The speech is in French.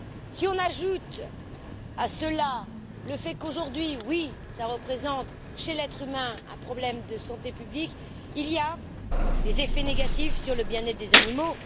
Si l'on ajoute à cela le fait qu'aujourd'hui, oui, cela représente chez l'être humain un problème de santé publique, il y a des effets négatifs sur le bien être des animaux.